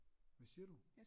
Hvad siger du